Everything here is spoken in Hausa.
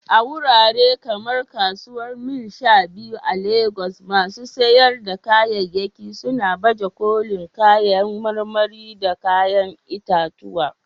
A wurare kamar Kasuwar Mile 12 a Legas, masu sayar da kayayyaki suna baje kolin kayan marmari da kayan itatuwa